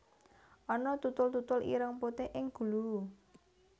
Ana tutul tutul ireng putih ing gulu